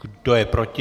Kdo je proti?